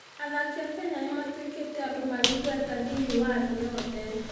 Athaki a Kenya nĩ matuĩkĩte andũ marĩ igweta thĩinĩ wa thĩ yothe.